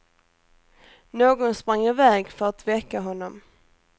Någon sprang i väg för att väcka honom.